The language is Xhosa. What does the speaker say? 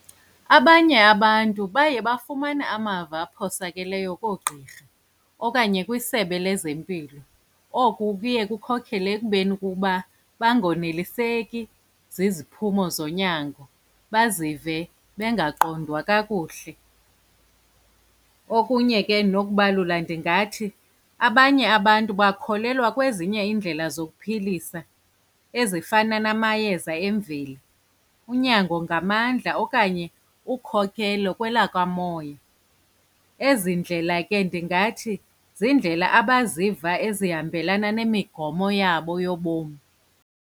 Abanye abantu baye bafumana amava aphosakeleyo koogqirha okanye kwisebe lezempilo. Oku kuye kukhokhele ekubeni kukuba bangoneliseki ziziphumo zonyango bazive bengaqondwa kakuhle. Okunye ke nokubalula ndingathi abanye abantu bakholelwa kwezinye iindlela zokuphilisa ezifana namayeza emveli, unyango ngamandla, okanye ukhokelo kwelakwamoya. Ezi ndlela ke ndingathi ziindlela abaziva ezihambelana nemigomo yabo yobomi.